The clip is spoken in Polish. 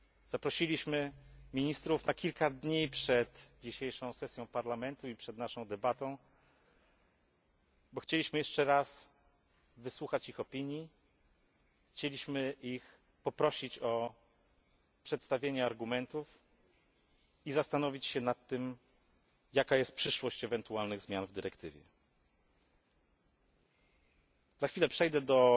Zaprosiliśmy ministrów na kilka dni przed dzisiejszą sesją Parlamentu i przed naszą debatą, bo chcieliśmy jeszcze raz wysłuchać ich opinii, chcieliśmy poprosić ich o przedstawienie argumentów i zastanowić się nad tym, jaka jest przyszłość ewentualnych zmian w dyrektywie. Za chwilę przejdę do